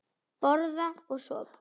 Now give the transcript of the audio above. Borða og sofa.